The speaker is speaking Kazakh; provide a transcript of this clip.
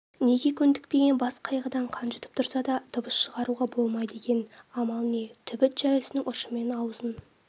неге көндікпеген бас қайғыдан қан жұтып тұрса да дыбыс шығаруға болмайды екен амал не түбіт шәлісінің ұшымен аузын